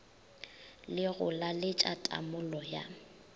le go laletša tamolo ya